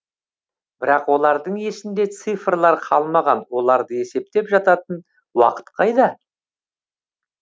бірақ олардың есінде цифрлар қалмаған оларды есептеп жататын уақыт қайда